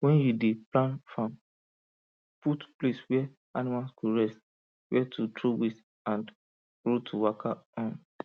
when you dey plan farm put place where animal go rest where to throw waste and road to waka um